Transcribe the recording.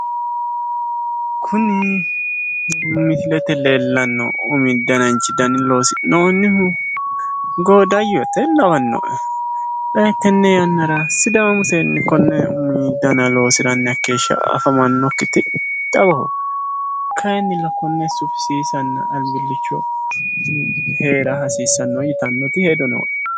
Kuni misilete leellanno umi dananchi dani loosi'noonnihu goodayyote lawannoe. Xa tenne yannara sidaamu seenni konne umu dana loosiranni hakkeeshsha afamannokkiti xawoho. Kayinnilla konne sufisiisanna albillicho heera hasiissanno yitannoti hedo nooe.